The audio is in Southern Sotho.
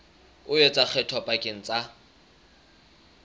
o etsa kgetho pakeng tsa